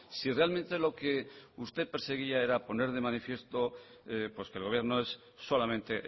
si realmente lo que usted perseguía era poner de manifiesto pues que el gobierno es solamente